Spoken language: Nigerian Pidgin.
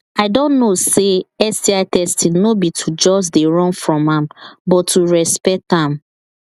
i don know say sti testing no be to just they run from am but to respect am